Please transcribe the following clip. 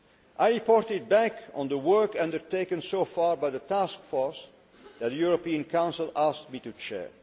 I reported back on the work undertaken so far by the task force that the European Council asked me to chair.